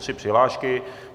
Tři přihlášky.